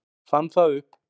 Fann það upp.